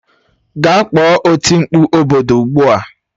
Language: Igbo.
Gaa kpọọ oti mkpụ obodo ugbu a